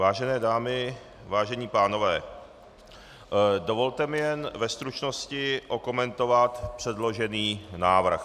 Vážené dámy, vážení pánové, dovolte mi jen ve stručnosti okomentovat předložený návrh.